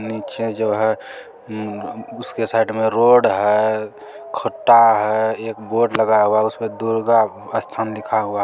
नीचे जो है उसके साइड में रोड है खड्डा है एक बोर्ड लगा हुआ है दुर्गा स्थान लिखा हुआ है ।